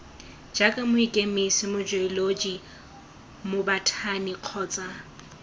jaaka mokemise mojeoloji mobothani kgotsa